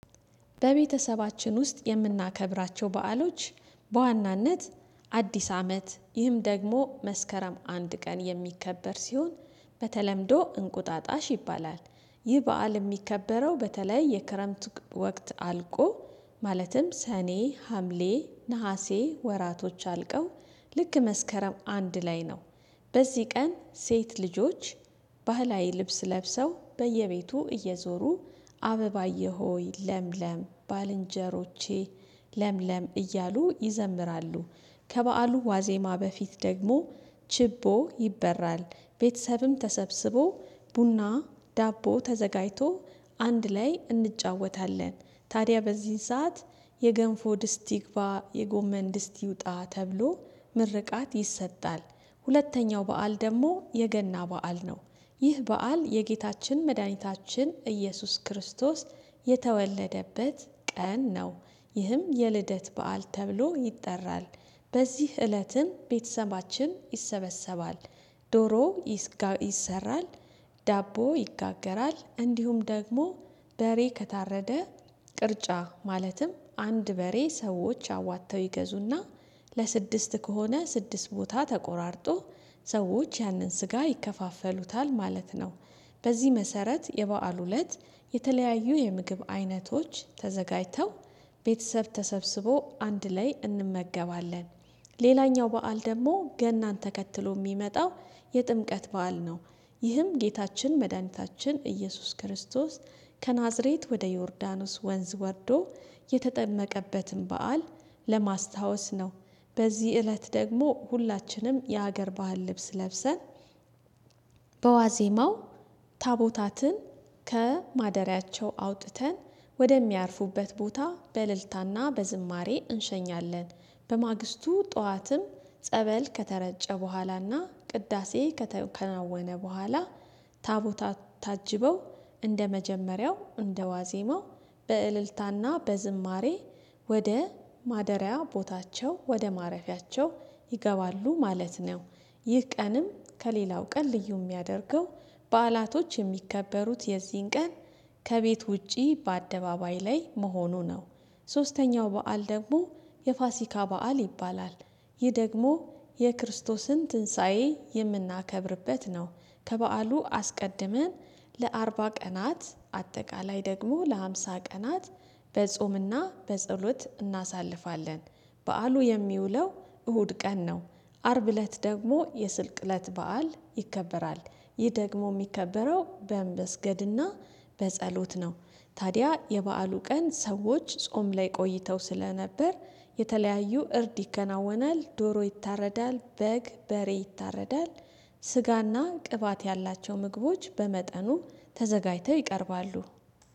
በቤተሰባችን ውስጥ የምናከብራቸው በዓሎች በዋናነት አዲስ አመት ይህም ደግሞ መስከረም አንድ ቀን የሚከበር ሲሆን በተለምዶ እንቁጣጣሽ ይባላል። ይህ በዓል የሚከበረው በተለይ የክረምት ወቅት አልቆ ማለትም ሰኔ ሀምሌ ነሀሴ ወራቶች አልቀው ልክ መስከረም አንድ ላይ ነው። በዚህ ቀን ሴት ልጆች ባህላዊ ልብስ ለብሰው በየቤቱ እየዞሩ አበባዬ ሆይ ለምለም ባልንጀሮቼ ለምለም እያሉ ይዘምራሉ። ከበዓሉ ዋዜማ በፊት ደግሞ ችቦ ይበራል። ቤተሰብም ተሰብስቦ ቡና ዳቦ ተዘጋጅቶ አንድ ላይ እንጫወታለን። ታዲያ በዚህ ሰዓት የገንፎ ድስት ይግባ የጎመን ድስት ይውጣ ተብሎ ምርቃት ይሰጣል። ሁለተኛው በዓል ደግሞ የገና በዓል ነው። ይህ በዓል የጌታችን መድኃኒታችን ኢየሱስ ክርስቶስ የተወለደበት ቀን ነው። ይህም የልደት በዓል ተብሎ ይጠራል። በዚህ እለትም ቤተሰባችን ይሰበሰባል ዶሮ ይሰራል። ዳቦ ይጋገራል እንዲሁም ደግሞ በሬ ከታረደ ቅርጫ ማለትም አንድ በሬ ሰዎች አዋጥተው ይገዙና ለስድስት ከሆነ ስድስት ቦታ ተቆራርጦ ሰዎች ያንን ስጋ ይከፋፈሉታል ማለት ነው። በዚህ መሰረት የበአሉ እለት የተለያዩ የምግብ አይነቶች ተዘጋጅተው ቤተሰብ ተሰብስቦ አንድ ላይ እንመገባለን። ሌላኛው በዓል ደግሞ ገናን ተከትሎ የሚመጣው የጥምቀት በዓል ነው። ይህም ጌታችን መድኃኒታችን ኢየሱስ ክርስቶስ ከናዝሬት ወደ ዮርዳኖስ ወንዝ ወርዶ የተጠመቀበትን በዓል ለማስታወስ ነው። በዚህ እለት ደግሞ ሁላችንም የሀገር ባህል ልብስ ለብሰን በዋዜማው ታቦታትን ከማደሪያቸው አውጥተን ወደሚያርፉበት ቦታ በእልልታና በዝማሬ እንሸኛለን። በማግስቱ ጠዋትም ጸበል ከተረጨ በኋላና ቅዳሴ ከተከናወነ በኋላ ታቦታቱ ታጅበው እንደመጀመሪያው እንደዋዜማው በእልልታና በዝማሬ ወደ ማደሪያ ቦታቸው ወደ ማረፊያቸው ይገባሉ ማለት ነው። ይህ ቀንም ከሌላው ቀን ልዩ የሚያደርገው በዓላቶች የሚከበሩት የዚህን ቀን ከቤት ውጪ በአደባባይ ላይ መሆኑ ነው። ሶስተኛው በዓል ደግሞ የፋሲካ በዓል ይባላል። ይህ ደግሞ የክርስቶስን ትንሳኤ የምናከብርበት ነው። ከበዓሉ አስቀድመን ለአርባ ቀናት አጠቃላይ ደግሞ ለሃምሳ ቀናት በጾምና በጸሎት እናሳልፋለን። በዓሉ የሚውለው እሁድ ቀን ነው። አርብ እለት ደግሞ የስቅለተ እለት በዓል ይከበራል። ይህ ደግሞ የሚከበረው በምበ ስገድና በጸሎት ነው። ታዲያ የበአሉ ቀን ሰዎች ጾም ላይ ቆይተው ስለነበር የተለያዩ እርድ ይከናወናል ዶሮ ይታረዳል በግ በሬ ይታረዳል። ስጋና ቅባት ያላቸው ምግቦች በመጠኑ ተዘጋጅተው ይቀርባሉ